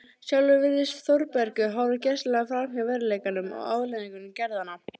Sjálfur virðist Þórbergur horfa gersamlega framhjá veruleikanum og afleiðingum gerðanna.